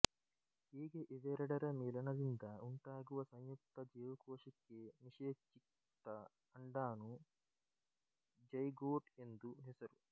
ಹೀಗೆ ಇವೆರಡರ ಮಿಲನದಿಂದ ಉಂಟಾಗುವ ಸಂಯುಕ್ತ ಜೀವಕೋಶಕ್ಕೆ ನಿಶೇಚಿತ ಅಂಡಾಣು ಜೈ಼ಗೋಟ್ ಎಂದು ಹೆಸರು